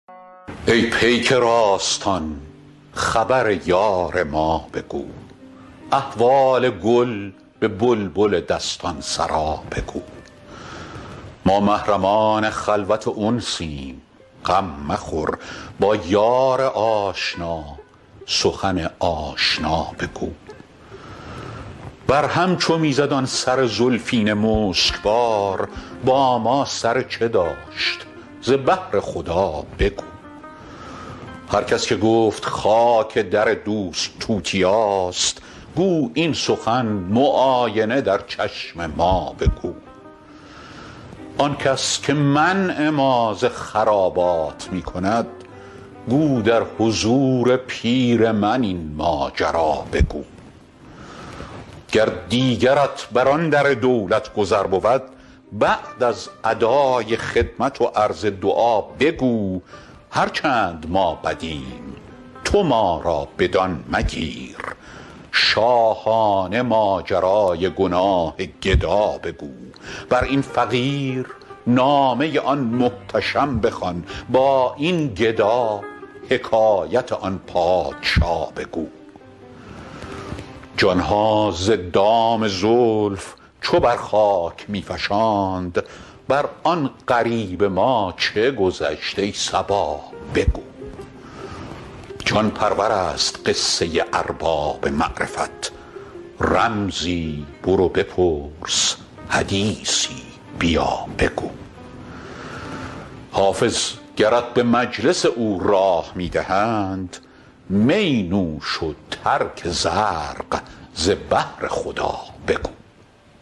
ای پیک راستان خبر یار ما بگو احوال گل به بلبل دستان سرا بگو ما محرمان خلوت انسیم غم مخور با یار آشنا سخن آشنا بگو بر هم چو می زد آن سر زلفین مشک بار با ما سر چه داشت ز بهر خدا بگو هر کس که گفت خاک در دوست توتیاست گو این سخن معاینه در چشم ما بگو آن کس که منع ما ز خرابات می کند گو در حضور پیر من این ماجرا بگو گر دیگرت بر آن در دولت گذر بود بعد از ادای خدمت و عرض دعا بگو هر چند ما بدیم تو ما را بدان مگیر شاهانه ماجرای گناه گدا بگو بر این فقیر نامه آن محتشم بخوان با این گدا حکایت آن پادشا بگو جان ها ز دام زلف چو بر خاک می فشاند بر آن غریب ما چه گذشت ای صبا بگو جان پرور است قصه ارباب معرفت رمزی برو بپرس حدیثی بیا بگو حافظ گرت به مجلس او راه می دهند می نوش و ترک زرق ز بهر خدا بگو